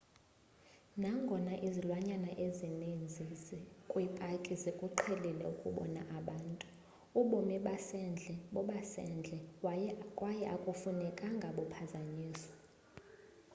nangona izilwanyana ezininzi kwipaki zikuqhelile ukubona abantu ubomi basendle bobasendle yaye akufunekanga buphazanyiswe